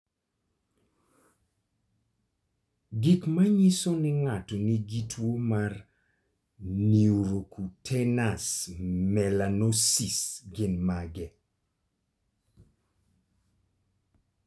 Gik manyiso ni ng'ato nigi tuwo mar Neurocutaneous melanosis gin mage?